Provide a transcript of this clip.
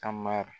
Ka mari